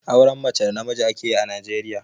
Auren mace da namiji ake yi a Najeriya.